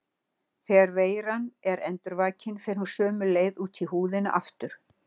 Þegar veiran er endurvakin fer hún sömu leið út í húðina aftur.